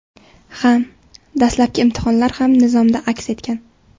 Ha, dastlabki imtihonlar ham nizomda aks etgan.